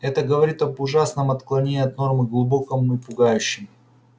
это говорит об ужасном отклонений от нормы глубоком и пугающем